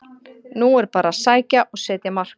Nú er bara að sækja og setja mark!